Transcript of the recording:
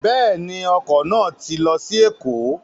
Bẹ́ẹ̀ ju, ọkọ̀ náà ti lọ sí Èkó.